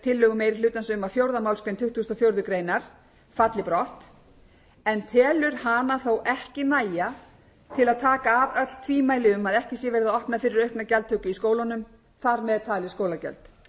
tillögu meiri hlutans um að fjórðu málsgrein tuttugustu og fjórðu grein falli brott en telur hana þó ekki nægja til að taka af öll tvímæli um að ekki sé verið að opna fyrir aukna gjaldtöku í skólunum þar með talin skólagjöld